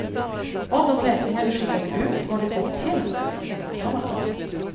Av de räkningar vi skickade ut var det säkert hälften som inte betalades.